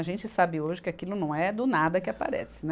A gente sabe hoje que aquilo não é do nada que aparece, né.